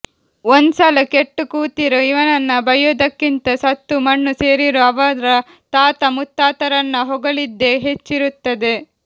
ಒಂದೊಂದ್ಸಲ ಕೆಟ್ಟುಕೂತಿರೋ ಇವನನ್ನ ಬೈಯೋದಕ್ಕಿಂತ ಸತ್ತು ಮಣ್ಣು ಸೇರಿರೋ ಅವರ ತಾತ ಮುತ್ತಾತರನ್ನ ಹೊಗಳಿದ್ದೇ ಹೆಚ್ಚಿರುತ್ತದೆ